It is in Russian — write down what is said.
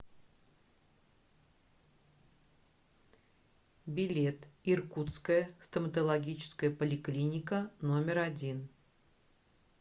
билет иркутская стоматологическая поликлиника номер один